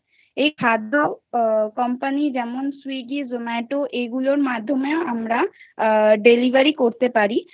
এই খাদ্য Company যেমন Swiggy Zomato এইগুলির মাধ্যমে আ Delivery করতে পারি